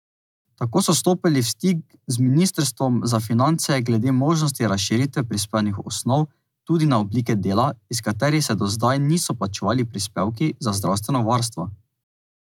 Tako so stopili v stik z ministrstvom za finance glede možnosti razširitve prispevnih osnov tudi na oblike dela, iz katerih se do zdaj niso plačevali prispevki za zdravstveno varstvo.